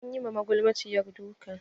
Anyi ma magulmaciyar duka.